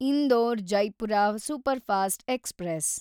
Indore Jaipur superfast express